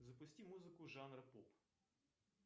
запусти музыку жанра поп